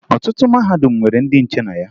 Ọtụtụ mahadum nwere ndị nche na ya